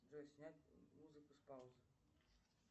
джой снять музыку с паузы